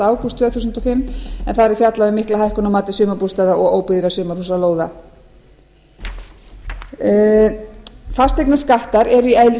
ágúst tvö þúsund og fimm en þar er fjallað um mikla hækkun á mati sumarbústaða og óbyggðra sumarhúsalóða fasteignaskattar eru í